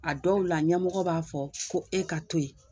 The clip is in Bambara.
A dɔw la ɲɛmɔgɔ b'a fɔ ko e ka to yen